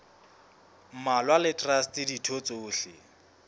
mmalwa le traste ditho tsohle